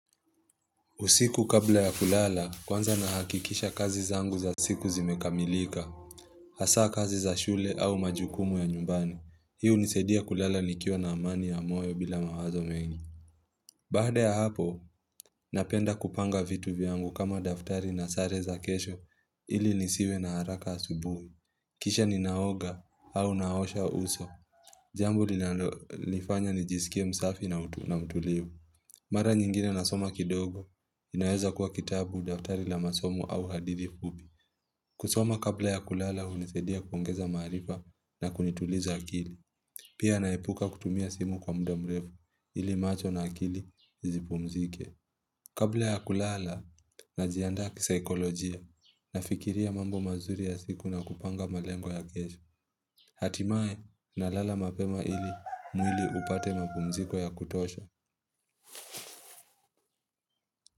Usiku kabla ya kulala, kwanza nahakikisha kazi zangu za siku zimekamilika. Hasaa kazi za shule au majukumu ya nyumbani. Hii hunisadia kulala nikiwa na amani ya moyo bila mawazo mengi. Baada ya hapo, napenda kupanga vitu vyangu kama daftari na sare za kesho ilinisiwe na haraka asubuhi. Kisha ninaoga au naosha uso. Jambo linalonifanya nijisikia msafi na mtulivu. Mara nyingine nasoma kidogo, inaweza kuwa kitabu, daftari la masomo au hadithi fupi. Kusoma kabla ya kulala, hunisaidia kuongeza maarifa na kunituliza akili. Pia naepuka kutumia simu kwa muda mrefu, ili macho na akili zipumzike. Kabla ya kulala, najiandaa kisaikolojia, nafikiria mambo mazuri ya siku na kupanga malengo ya kesho. Hatimaye na lala mapema ili mwili upate mapumziko ya kutosha.